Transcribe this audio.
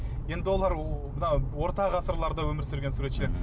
енді олар мынау орта ғасырларда өмір сүрген суретшілер мхм